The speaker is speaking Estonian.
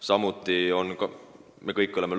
Samuti me kõik teame